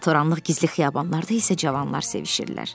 Alatoranlıq gizli xiyabanlarda isə cavanlar sevişirlər.